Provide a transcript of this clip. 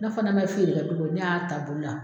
Ne fana ma feere kɛ tugu ne y'a boli la